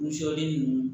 Wusulanin ninnu